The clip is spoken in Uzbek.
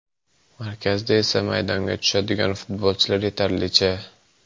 Markazda esa maydonga tushadigan futbolchilar yetarlicha.